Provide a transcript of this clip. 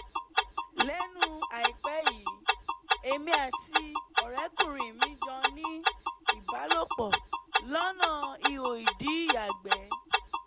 lẹ́nu àìpẹ́ yìí èmi àti ọ̀rẹ́kùnrin mi jọ ní ìbálòpọ̀ lọ́nà iho-ìdí ìyàgbẹ́